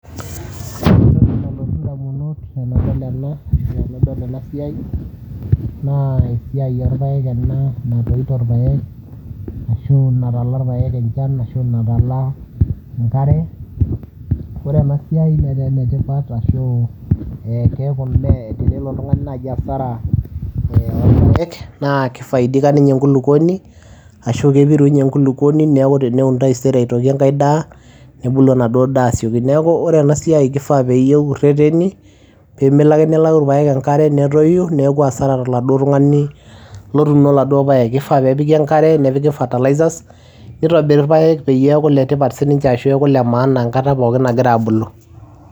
ore entoki nalotu indamunot tenadol ena ashu tenadol ena siai naa esiai orpaek ena natoito irpaek ashu natala irpeek enchan ashu natala enkare. Ore ena siai netaa ene tipat ashu keeku mee tenelo oltung'ani naaji hasara ee orpaek naa kifaidika ninye enkulukoni ashu kepiru inye enkulukoni neeku teneun taisere aitoki enkae daa nebulu enaduo daa asioki. Neeku ore ena siai kifaa peyie eur rereni pee melo ake nelau irpaek enkare netoyu neeku hasara toladuo tung'ani lotuuno laduo paek. Kifaa peepiki enkare, nepiki fertilizers netobiri irpaek peyie eeku ile tipat sininche ashu eeku ile maana enkata pookin nagira aabulu.